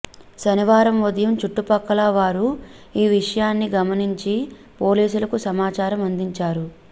శనివారం ఉదయం చుట్టుపక్కల వారు ఈ విషయాన్ని గమనించి పోలీసులకు సమాచారం అందిచారు